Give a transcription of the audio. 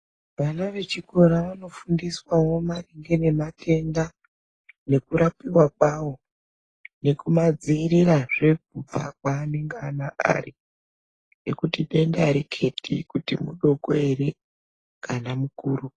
Vana vechikora vanofundiswa wo maringe ne matenda nekurapiwa kwawo nekumadzivirira zve kubva kwaanonga ari ngekuti denda hariketi kuti mudoko here kana mukuru.